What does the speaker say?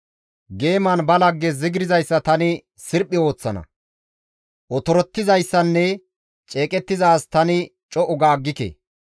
Geeman ba lagge zigirzayssa tani sirphi ooththana; otorettizayssinne ceeqettiza as tani co7u ga aggike.